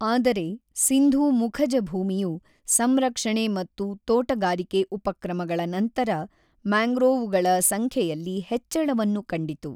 ಆದರೆ, ಸಿಂಧೂ ಮುಖಜಭೂಮಿಯು ಸಂರಕ್ಷಣೆ ಮತ್ತು ತೋಟಗಾರಿಕೆ ಉಪಕ್ರಮಗಳ ನಂತರ ಮ್ಯಾಂಗ್ರೋವುಗಳ ಸಂಖ್ಯೆಯಲ್ಲಿ ಹೆಚ್ಚಳವನ್ನು ಕಂಡಿತು.